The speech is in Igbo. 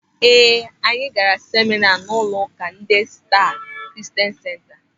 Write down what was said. Ee, anyị gaara semịna n'ụlọụka Dee Staa Kristian Senta.